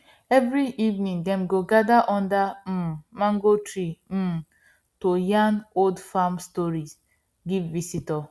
every evening dem gather under um mango tree um to yarn old farm stories give visitors